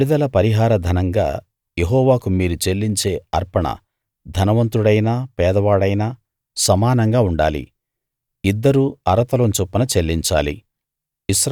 విడుదల పరిహార ధనంగా యెహోవాకు మీరు చెల్లించే అర్పణ ధనవంతుడైనా పేదవాడైనా సమానంగా ఉండాలి ఇద్దరూ అర తులం చొప్పున చెల్లించాలి